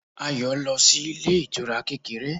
Ayọ̀ lọ sí ilé ìtura kékeré